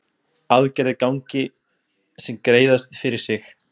Aðgerðir gangi sem greiðast fyrir sig